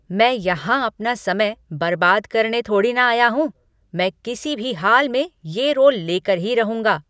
मैं यहां अपना समय बर्बाद करने थोड़ी ना आया हूँ! मैं किसी भी हाल में ये रोल लेकर ही रहूंगा।